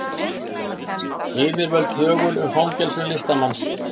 Yfirvöld þögul um fangelsun listamanns